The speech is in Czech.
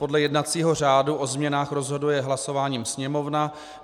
Podle jednacího řádu o změnách rozhoduje hlasováním Sněmovna.